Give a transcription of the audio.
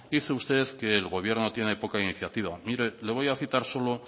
dice usted que el gobierno tiene poca iniciativa mire le voy a citar solo